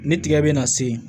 Ni tigɛ bɛna se yen